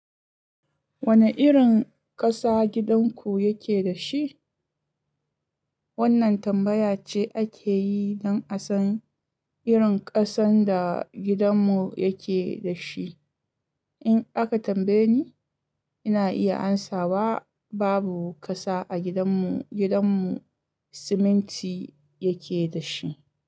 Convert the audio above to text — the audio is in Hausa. Wane irin ƙasa gidanku yake da shi? Wannan tambaya ce ake yi don a san irin ƙasan da gidanmu yake da shi. In aka tambaye ni, ina iya amsawa babu ƙasa a gidanmu, gidanmu siminti yake da shi.